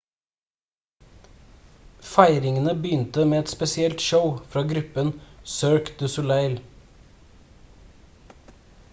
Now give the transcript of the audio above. feiringene begynte med et spesielt show fra gruppen cirque du soleil